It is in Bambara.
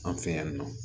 An fɛ yan nɔ